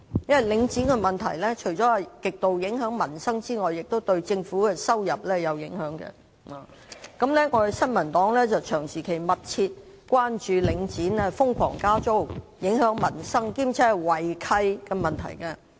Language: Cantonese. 因為領展的問題，除極度影響民生外，也影響政府的收入。新民黨長期密切關注領展瘋狂加租影響民生，並且有違契的問題。